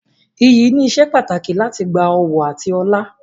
Iyì ni ìsepàtàkì láti gba ọ̀wọ̀ àti ọlá.